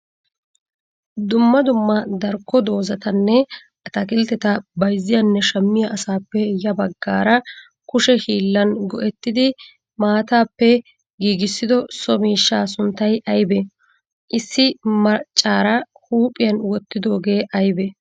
Dummaa dummaa darkko doozatanne atakkiltetta bayziyanne shammiya asappe ya baggara kushe hillan go'etidi maatappe giggissido so miishshaa sunttay aybee? issi maccara huphiyan wotidogee aybee?